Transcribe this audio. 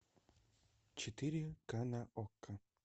четыре ка на окко